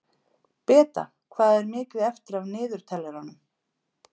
Beta, hvað er mikið eftir af niðurteljaranum?